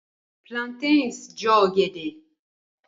Plantains Jọ ọgẹdẹ.